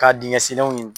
Ka dingɛ senw